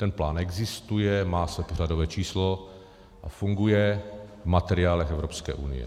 Ten plán existuje, má své pořadové číslo a funguje v materiálech Evropské unie.